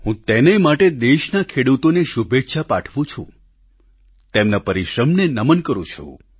હું તેને માટે દેશના ખેડૂતોને શુભેચ્છા પાઠવું છું તેમના પરિશ્રમને નમન કરું છું